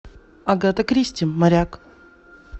агата кристи моряк